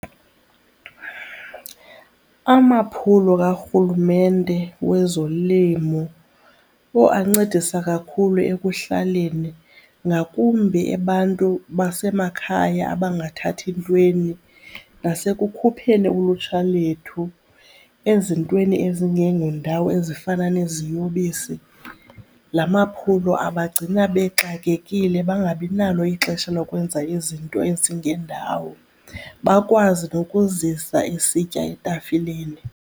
Amaphulo karhulumente wezolimo owu ancedisa kakhulu ekuhlaleni, ngakumbi abantu basemakhaya abangathathi ntweni nasekukhupheni ulutsha lethu ezintweni ezingengondawo ezifana neziyobisi. La maphulo abagcina bexakekile bangabi nalo ixesha lokwenza izinto ezingendawo, bakwazi nokuzisa isitya etafileni.